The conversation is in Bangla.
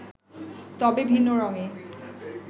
তবে ভিন্ন রঙে